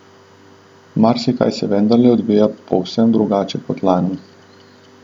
Marsikaj se vendarle odvija povsem drugače kot lani.